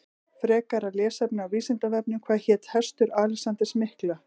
Frekara lesefni á Vísindavefnum Hvað hét hestur Alexanders mikla?